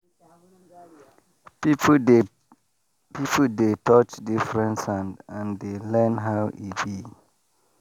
people dey people dey touch different sand and dey learn how e be.